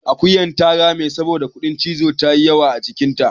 akuyar ta rame saboda kuɗin cizo ya yi yawa a jikinta